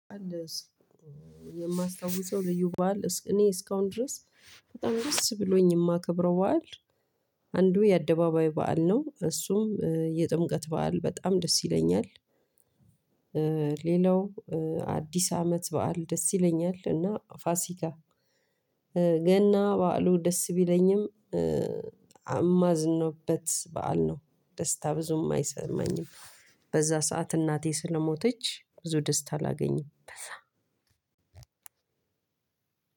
አንድ የማስታውሰው ልዩ በዓል እኔ እስካሁን ድረስ በጣም ድረስ ብሎኝ የማከብረው በዓል አንዱ የአደባባይ በዓል ነው እሱም የጥምቀት በዓል በጣም ደስ ይለኛል። ሌላው አዲስ አመት በዓል ደስ ይለኛል እና ፋሲካ። ገና በዓሉ ደስ ቢለኝም። እማዝበት በዓል ነው ደስታ ብዙም አይሰማኝም። በዛ ሰዓት እናቴ ስለሞተች ብዙ ደስታ አላገኝም በዛ።